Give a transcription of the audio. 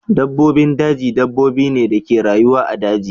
Dabbobin daji dabbobi ne da ke rayuwa a daji.